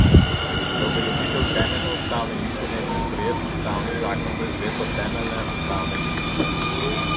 Za uveljavitev Temeljne ustavne listine je bil sprejet ustavni zakon za izvedbo temeljne ustavne listine.